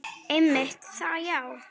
Einmitt það já.